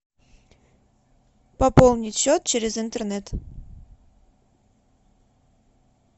пополнить счет через интернет